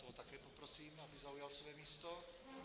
Toho také poprosím, aby zaujal svoje místo.